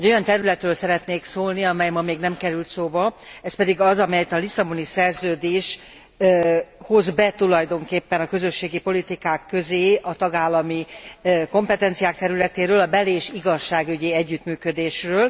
Egy olyan területről szeretnék szólni, amely ma még nem került szóba, ezt pedig az, amelyet a Lisszaboni Szerződés hoz be tulajdonképpen a közösségi politikák közé a tagállami kompetenciák területéről, a bel és igazságügyi együttműködésről.